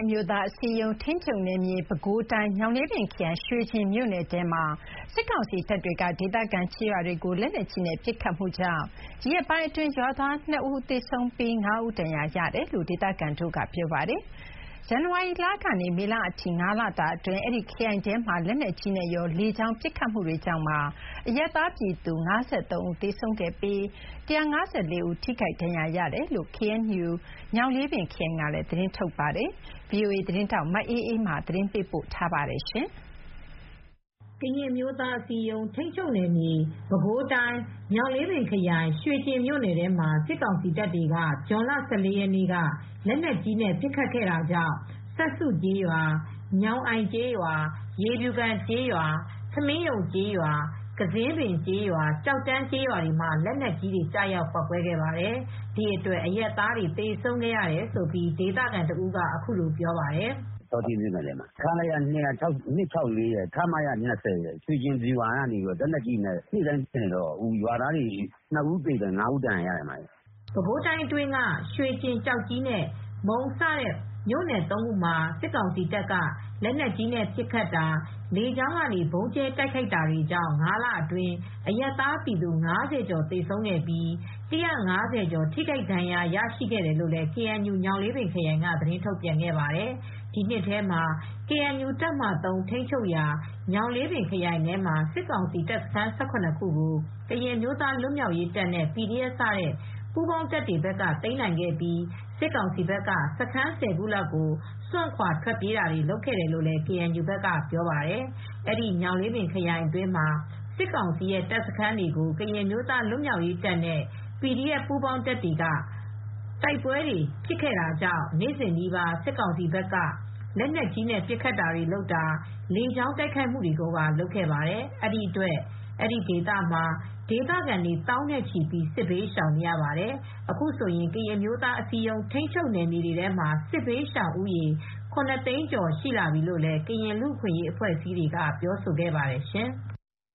အမျိုးသားအစည်းအရုံး ထိန်းချုပ်နယ်မြေ ပဲခူးတိုင်း ညောင်လေးပင်ခရိုင် ရွေကျင်မြို့နယ်ထဲမှာ စစ်ကောင်စီတပ်တွေက ဒေသခံကျေးရွာတွေကို လက်နက်ကြီးနဲ့ပစ်ခတ်ခဲ့တာကြောင့် ဒီရက်အတွင်း ရွာသားနှစ်ဦးသေဆုံးပြီး ငါးဦးဒဏ်ရာရခဲ့တယ်လို့ ဒေသခံတွေကပြောပါတယ်။ ဇန်နဝါရီကနေ မေလအထိ ၅ လအတွင်း အဲဒီခရိုင်ထဲမှာ လက်နက်ကြီးနဲ့ကော လေကြောင်းပစ်ခတ်မှုတွေကြောင့်ပါ အရပ်သားပြည်သူ (၅၃) ဦးသေဆုံးခဲ့ပြီး (၁၅၄) ဦး ထိခိုက်ဒဏ်ရာရရှိခဲ့တယ်လို့ ကေအန်ယူ ညောင်လေးပင်ခရိုင်ကလည်း သတင်းထုတ်ပြန်ခဲ့ပါတယ်။ ဒီသတင်းကိုဗွီအိုအေသတင်းထောက်မအေးအေးမာက သတင်းပေးပို့ထားပါတယ်။ ကရင်အမျိုးသားအစည်းအရုံး ထိန်းချုပ်နယ်မြေဖြစ်တဲ့ ပဲခူးတိုင်း ညောင်လေးပင်ခရိုင် ဆောထိ (ရွေကျင်) မြို့နယ်အတွင်းမှာ စစ်ကောင်စီတပ်တွေက ဇွန်လ ၁၄ ရက်နေ့က လက်နက်ကြီးနဲ့ပစ်ခတ်တာကြောင့် စပ်စုကျေးရွာ၊ ညောင်အိုင်ကျေးရွာ၊ ရေဖြူကန်ကျေးရွာ၊ ထမင်းရုံကျေးရွာ၊ ကဇင်းပင်ကျေးရွာ၊ကျောက်တန်းကျေးရွာတွေမှာ လက်နက်ကြီးတွေ ကျရောက်ပေါက်ကွဲခဲ့ပါတယ်။ အဲဒီပစ်ခတ်မှုတွေအတွင်း အရပ်သားတွေသေဆုံးခဲ့ရတယ်လို့ ဒေသခံတဦးကပြောပါတယ်။ "ဆောထိမြို့နယ်ထဲမှာပါ။ ခလရ ၂၆၄ ရယ်၊ ခမရ ၂၀ ရယ်က ရွှေကျင်ဗျူဟာကနေ လက်နက်ကြီးနဲ့နေ့တိုင်းပစ်နေတော့ အခုက ဒေသခံနှစ်ဦး သေဆုံးပြီး ၅ ဦးဒဏ်ရာရခဲ့ပါတယ်။" ပဲခူးတိုင်းအတွင်းက ရွှေကျင်၊ ကျောက်ကြီးနဲ့ မုန်း စတဲ့ သုံးမြို့နယ်မှာ စစ်ကောင်စီတပ်က လက်နက်ကြီးပစ်ခတ်တာ၊ လေကြောင်းကနေ ဗုံးကြဲတိုက်ခိုက်ခဲ့တာတွေကြောင့် ၅ လအတွင်း အရပ်သား ပြည်သူ ၅၀ ကျော် သေဆုံးပြီး ၁၅၀ ကျော်ထိခိုက်ဒဏ်ရာတွေရခဲ့တယ်လို့လည် ကေအန်ယူ ညောင်လေးပင်ခရိုင်ကလည်း သတင်းထုတ်ပြန်ခဲ့ပါတယ်။ ဒီနှစ်ထဲမှာ ကေအန်ယူတပ်မဟာ (၃) ထိန်းချုပ်ရာ ညောင်လေးပင်ခရိုင်ထဲမှာ စစ်ကောင်စီတပ်စခန်း ၁၇ ခုကို ကရင်အမျိုးသားလွတ်မြောက်ရေးတပ်နဲ့ PDF စတဲ့ ပူးပေါင်းတပ်တွေဘက်က သိမ်းနိုင်ခဲ့ပြီး စစ်ကောင်စီဘက်က စခန်း ၁၀ ခုလောက်ကို စွန့်ခွါထွက်ပြေးခဲ့ရတယ်လို့လည်း ကေအန်ယူဘက်ကပြောပါတယ်။ အဲဒီညောင်လေးပင်ခရိုင်အတွင်းမှာ စစ်ကောင်စီရဲ့တပ်စခန်းတွေကို ကရင်အမျိုးသားလွတ်မြောက်ရေးတပ်နဲ့ PDF ပူးပေါင်းတပ်တွေက ပြင်းပြင်းထန်ထန် တိုက်ခိုက်နေခဲ့တာကြောင့် စစ်ကောင်စီဘက်ကလည်း နေ့စဉ်နီးပါး လက်နက်ကြီးနဲ့ပစ်ခတ်တာ၊ လေကြောင်းတိုက်ခိုက်တာတွေ လုပ်ခဲ့ပါတယ်။ ဒီအတွက် အဲဒီဒေသမှာ ဒေသခံတွေ သောင်းနဲ့ချီပြီး စစ်ဘေးရှောင်နေရပါတယ်။ အခုဆိုရင် ကရင်အမျိုးသားအစည်းအရုံးထိန်းချုပ်နယ်မြေတွေထဲမှာ စစ်ဘေးရှောင်သူ ၇ သိန်းကျော်ရှိလာပြီလို့လည်း ကရင်လူ့အခွင့်ရေးဖွဲ့အစည်းတွေကလည်း ပြောထားပါတယ်ရှင်။